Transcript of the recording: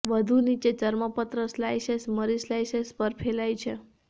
વધુ નીચે ચર્મપત્ર સ્લાઇસેસ મરી સ્લાઇસેસ પર ફેલાય છે